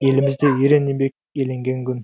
елімізде ерен еңбек еленген күн